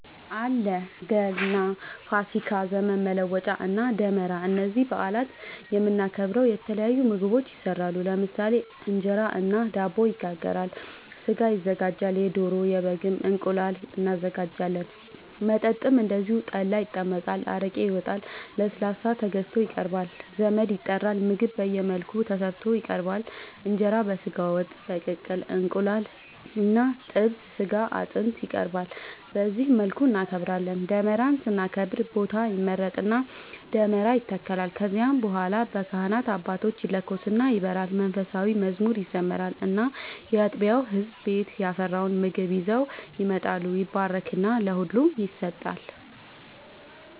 አለ ገና፣ ፋሲካ፣ ዘመን መለወጫ እና ደመራ እነዚህን በአላት የምናከብረው የተለያዩ ምግቦች ይሰራሉ ለምሳሌ እንጀራ እና ዳቦ ይጋገራል፣ ስጋ ይዘጋጃል የዶሮ፣ የበግም፣ እንቁላል እናዘጋጃለን። መጠጥም እንደዚሁ ጠላ ይጠመቃል፣ አረቄ ይወጣል፣ ለስላሳ ተገዝቶ ይቀርባል ዘመድ ይጠራል ምግብ በየመልኩ ተሰርቶ ይቀርባል እንጀራ በስጋ ወጥ፣ በቅቅል እንቁላል እና ጥብስ ስጋ አጥንት ይቀርባል በዚህ መልኩ እናከብራለን። ደመራን ስናከብር ቦታ ይመረጥና ደመራ ይተከላል ከዚያ በኋላ በካህናት አባቶች ይለኮስና ይበራል መንፉሳዊ መዝሙር ይዘመራል እና ያጥቢያው ህዝብ ቤት ያፈራውን ምግብ ይዘው ይመጣሉ ይባረክና ለሁሉም ይሰጣል።